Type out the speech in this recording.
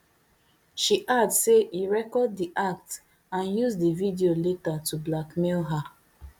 she add say e record di act and use di video later to blackmail her